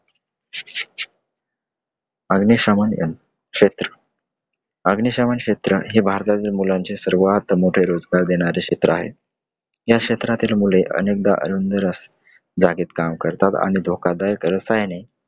अग्निशम अं क्षेत्र , अग्निशमन क्षेत्र हे भारतातील मुलांचे सर्वात मोठे रोजगार देणारे आहे. या क्षेत्रातील मुले अनेकदा जागेत काम करतात. आणि धोकादायक रसायने